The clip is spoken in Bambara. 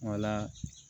Wala